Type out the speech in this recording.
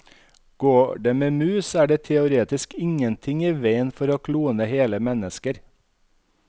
Går det med mus, er det teoretisk ingenting i veien for å klone hele mennesker.